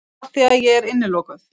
Afþvíað ég er innilokuð.